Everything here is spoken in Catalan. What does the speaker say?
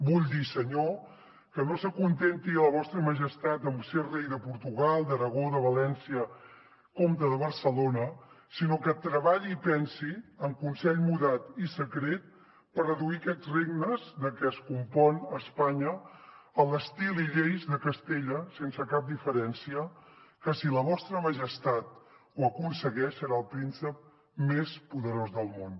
vull dir senyor que no s’acontenti la vostra majestat amb ser rei de portugal d’aragó de valència comte de barcelona sinó que treballi i pensi amb consell mudat i secret per reduir aquests regnes de què es compon espanya a l’estil i lleis de castella sense cap diferència que si la vostra majestat ho aconsegueix serà el príncep més poderós del món